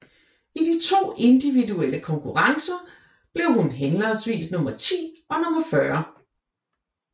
I de to individuelle konkurrencer blev han henholdsvis nummer ti og nummer fyrre